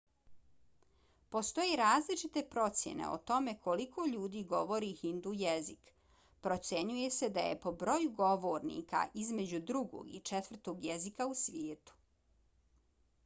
postoje različite procjene o tome koliko ljudi govori hindu jezik. procjenjuje se da je po broju govornika između drugog i četvrtog jezika u svijetu